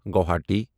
Guwahati